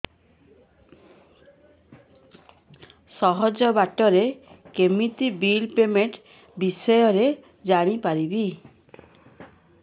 ସହଜ ବାଟ ରେ କେମିତି ବିଲ୍ ପେମେଣ୍ଟ ବିଷୟ ରେ ଜାଣି ପାରିବି